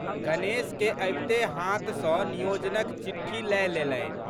गणेश के अबिते हाथ सँ नियोजनक चिट्ठी लए लेलनि।